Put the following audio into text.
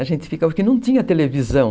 A gente ficava, porque não tinha televisão.